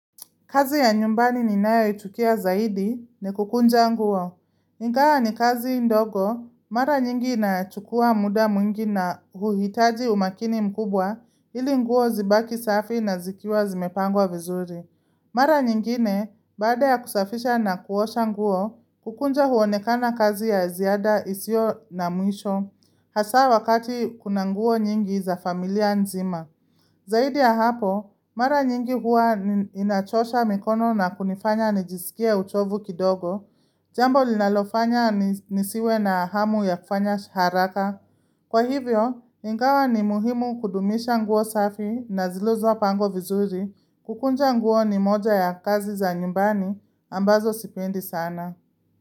Kazi ya nyumbani ninayo ichukia zaidi ni kukunja nguo. Ingawa ni kazi ndogo, mara nyingi inachukua muda mwingi na huhitaji umakini mkubwa ili nguo zibaki safi na zikiwa zimepangwa vizuri. Mara nyingine, baada ya kusafisha na kuosha nguo, kukunja huonekana kazi ya ziada isio na mwisho, hasaa wakati kuna nguo nyingi za familia nzima. Zaidi ya hapo, mara nyingi huwa inachosha mikono na kunifanya nijisikie uchovu kidogo, jambo linalofanya nisiwe na hamu ya kufanya haraka. Kwa hivyo, ingawa ni muhimu kudumisha nguo safi na zilizopangwa vizuri kukunja nguo ni moja ya kazi za nyumbani ambazo sipendi sana.